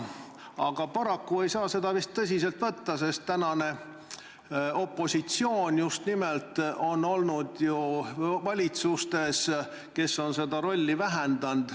Aga paraku ei saa seda vist tõsiselt võtta, sest tänane opositsioon on olnud just nimelt ju valitsustes, kes on seda rolli vähendanud.